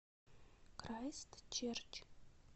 крайстчерч